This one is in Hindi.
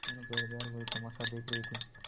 दोनों पहरेदार वही तमाशा देख रहे थे